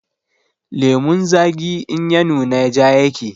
Lemon zagi in ya nuna ja yake